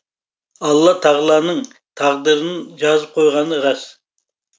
алла тағаланың тағдырын жазып қойғаны рас